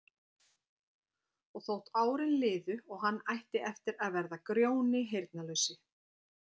Og þótt árin liðu og hann ætti eftir að verða Grjóni heyrnarlausi